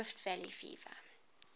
rift valley fever